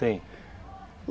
Tem.